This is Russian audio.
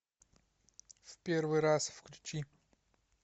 в первый раз включи